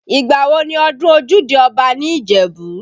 Ìgbà wo ni ọdún ojúde Ọba ní Ìjẹ̀bú?